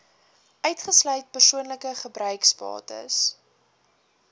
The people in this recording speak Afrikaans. uitgesluit persoonlike gebruiksbates